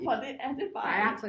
For det er det bare ikke